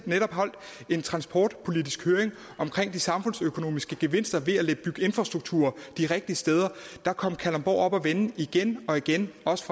netop holdt en transportpolitisk høring om de samfundsøkonomiske gevinster ved at bygge infrastruktur de rigtige steder der kom kalundborg op at vende igen og igen også